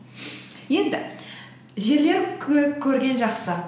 енді жерлер көп көрген жақсы